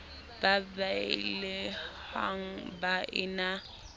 ba belehwang ba e na